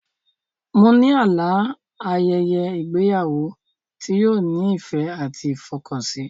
Mo ní àlá a ayẹyẹ ìgbéyàwó tí yóò ní ìfẹ́ àti ìfọkànsìn